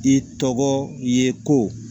I tɔgɔ i ye ko